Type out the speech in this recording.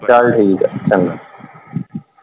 ਚਲ ਠੀਕ ਆ ਚੰਗਾ।